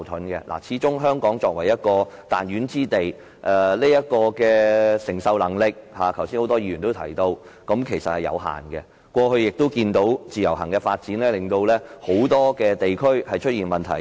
剛才多位議員也提到作為彈丸之地，香港的承受能力始終有限，而以往我們也看到自由行的發展令很多地區出現問題。